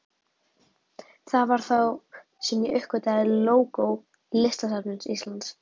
Það var þá sem ég uppgötvaði lógó Listasafns Íslands.